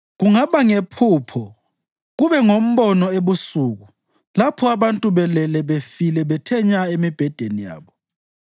Kungaba ngephupho, kube ngombono ebusuku lapho abantu belele befile bethe nya emibhedeni yabo,